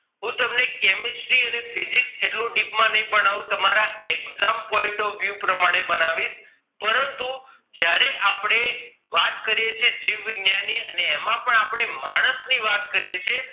હું તમને chemistry અને physics જેટલું deep માં ની ભાણવું તમારા exam point of you પ્રમાણે ભણાવીશ પરંતુ જયારે આપણે વાત કરીએ છીએ જીવવૈજ્ઞાનિક અને એમાં પણ આપણે માણસ ની વાત કરીએ છીએ